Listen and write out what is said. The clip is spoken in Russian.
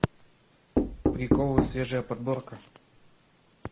приколы свежая подборка